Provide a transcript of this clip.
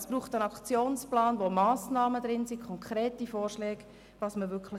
Es braucht einen Aktionsplan, der Massnahmen und konkrete Vorschläge enthält.